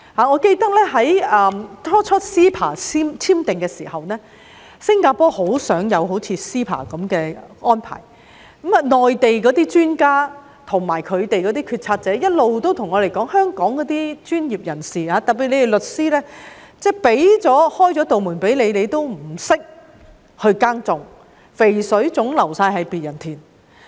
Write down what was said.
我記得最初簽訂 CEPA 時，新加坡也很想有類似 CEPA 的安排，內地專家和決策者一直跟我們說，內地開了門給香港的專業人士——特別是律師——他們卻不懂得耕耘，肥水總是流到別人田。